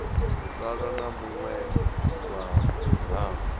sala u muwe wa mihasho